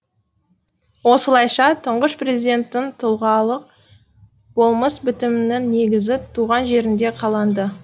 осылайша тұңғыш президенттің тұлғалық болмыс бітімінің негізі туған жерінде қаланды